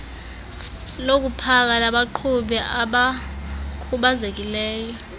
lokupaka labaqhubi abakhubazekileyo